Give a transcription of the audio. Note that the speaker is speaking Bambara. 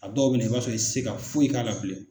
A dɔw bɛ na i b'a sɔrɔ i tɛ se ka foyi k'a la bilen.